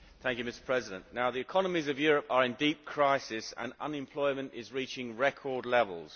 Mr President, the economies of Europe are in deep crisis, and unemployment is reaching record levels.